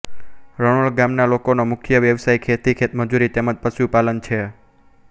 રણોલ ગામના લોકોનો મુખ્ય વ્યવસાય ખેતી ખેતમજૂરી તેમ જ પશુપાલન છે